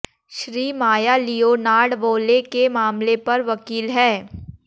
Shri Maya Leonard वोले के मामले पर वकील हैं